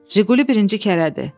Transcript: Jiquli birinci kərədir.